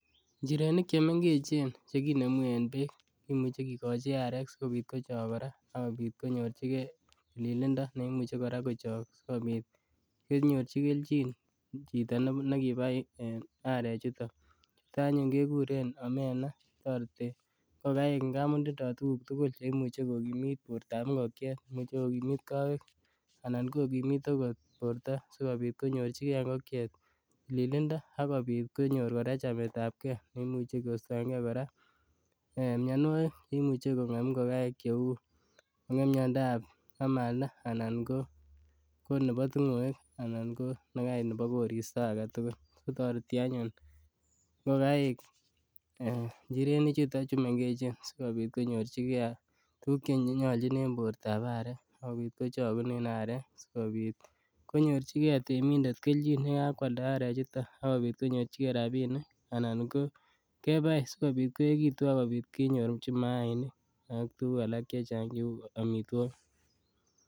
Njirenik chemengechen chekinemu en beek kimuche kikochi areek sikobit kochok kora ak kobit konyorchike tililindo neimuche kora kochok sikobit konyorchi kelchin chito nekibai arechuton, chuto anyun kekuren omena toreti ngokaik amun tindo tukuk tukul cheimuche komuche kokimiit boortab ing'okiet, imuche kokimiit kowek anan kokimit oko borto sikobit konyorchike ng'okiet tililindo ak kobiit kora konyor chametabke neimuche kostoenge mionwokik cheimuche kokon en ing'okaik cheuu konam miondab amalda anan ko konebo ting'oek anan ko nekait nebo koristo aketukul kotoreti anyun ng'okaik njirenichuton chumeng'echen sikobit konyorchike tukuk chenyolchin en bortab arek ak kobit kochokunen arek sikobit konyorchike temindet kelchin yekakwalda arechuton ak kobit konyorchike rabbinik anan ko kebai sikobit koekitu ak kobit kenyorchi mainik ak tukuk alak cechang cheuu omitwokik.